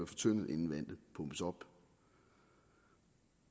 fortyndet inden vandet pumpes op